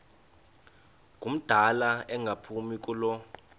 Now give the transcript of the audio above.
ngumdala engaphumi kulo